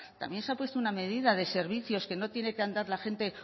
también se ha puesto una medida de servicios que no tiene que andar la gente